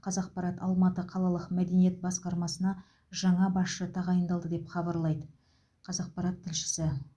қазақпарат алматы қалалық мәдениет басқармасына жаңа басшы тағайындалды деп хабарлайды қазақпарат тілшісі